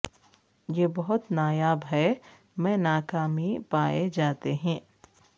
یہ بہت نایاب ہے میں ناکامی پائے جاتے ہیں